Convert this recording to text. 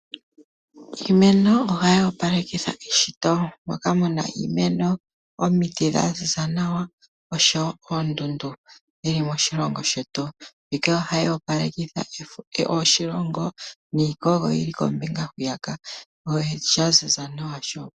Iimeno ohayi opalekitha eshito. Mpoka pu na iimeno, omiti dha ziza nawa noshowo oondundu dhi li moshilongo shetu. Mbika ohayi opalekitha oshilongo niikogo yi li kombinga hwiya ka.